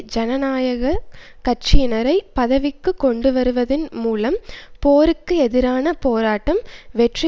ஜனநாயக கட்சியினரை பதவிக்கு கொண்டுவருவதின் மூலம் போருக்கு எதிரான போராட்டம் வெற்றி